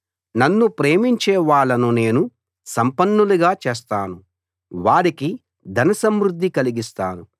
నన్ను ప్రేమించే వాళ్ళను నేను సంపన్నులుగా చేస్తాను వారికి ధన సమృద్ధి కలిగిస్తాను